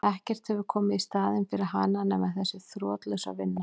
Ekkert hefur komið í staðinn fyrir hana nema þessi þrotlausa vinna.